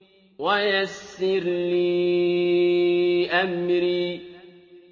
وَيَسِّرْ لِي أَمْرِي